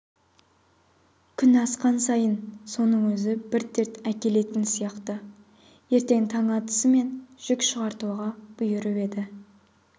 күн асқан сайын соның өзі бір дерт әкелетін сияқты ертең таң атысымен жүк шығартуға бұйырып еді